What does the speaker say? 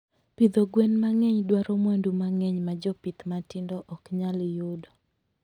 Pidho gwen mang'eny dwaro mwandu mang'eny ma jopith matindo ok nyal yudo.